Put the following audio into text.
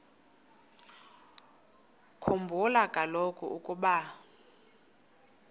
khumbula kaloku ukuba